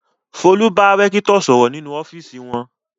Folú bá rẹ́kítọ̀ sọ̀rọ̀ nínú ọ́fíísì wọn.